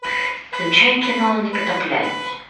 включай кино непотопляемые